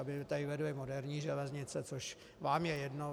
Aby tady vedly moderní železnice, což vám je jedno.